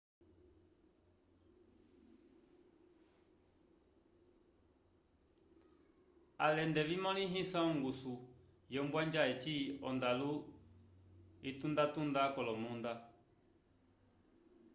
alende vimõlehisa ongusu wombwanja eci ondalu yitundatunda k'olomunda